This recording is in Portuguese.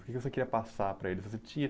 O que você queria passar para eles? Você tinha